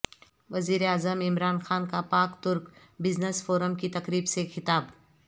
وزیر اعظم عمران خان کا پاک ترک بزنس فورم کی تقریب سے خطاب